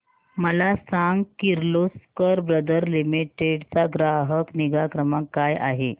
मला सांग Kirloskar brother limited चा ग्राहक निगा क्रमांक काय आहे